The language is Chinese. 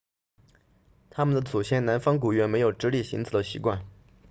他们的祖先南方古猿没有直立行走的习惯